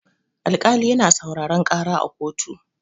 Alkali yana sauraron ƙara a kotu.